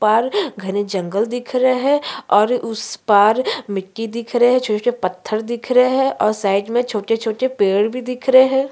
उसके पार करने जंगल दिख रहा है और उस के पार मिट्टी छोटे-छोटे पत्थर दिख रहें हैं साइड में छोटे-छोटे पेड़ भी दिख रहें हैं।